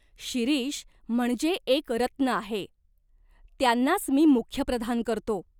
शिरीष म्हणजे एक रत्न आहे. त्यांनाच मी मुख्य प्रधान करतो.